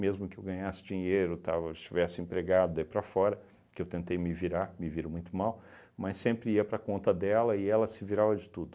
que eu ganhasse dinheiro, estava estivesse empregado, daí para fora, que eu tentei me virar, me viro muito mal, mas sempre ia para a conta dela e ela se virava de tudo.